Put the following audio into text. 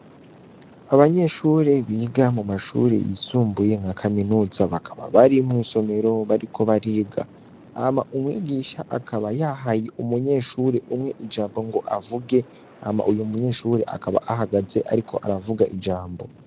Abanyeshure biga mu mashure yisumbuye nka kaminuza, bakaba bari mw'isomero bariko bariga. Hama umwigisha akaba yahaye umunyeshure umwe ijambo ngo avuge, hama uyo munyeshure akaba ahagaze ariko aravuga ijambo.